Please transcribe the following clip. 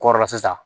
Kɔrɔla sisan